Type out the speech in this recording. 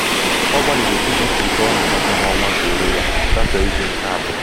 ọ gbalịrị ime ka ego ọ na-enweta n'ọnwa zuoro ya gafee izu nke abụọ.